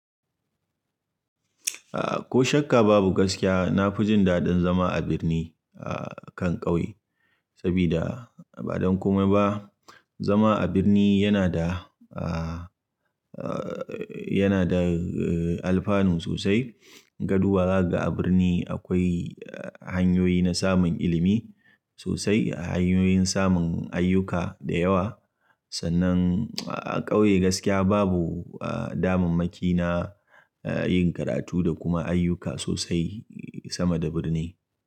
Aah ko shakka babu gaskiya, na fi jin daɗin zama a birni a kan ƙauye. Sabida ba don komai ba, zama a birni yana da aah aah yana da alfanu sosai. Gaduwa ga a birni akwai hanyoyi na samun ilimi sosai, hanyoyin samun ayyuka da yawa. Sannan a ƙauye gaskiya babu aah damammaki na yin karatu da kuma ayyuka sosai sama da birni.